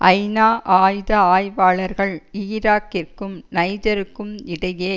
ஐநா ஆயுத ஆய்வாளர்கள் ஈராக்கிற்கும் நைஜருக்கும் இடையே